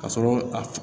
Ka sɔrɔ a